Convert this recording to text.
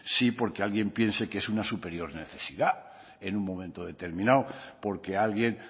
sí porque alguien piense que es una superar necesidad en un momento determinado porque alguien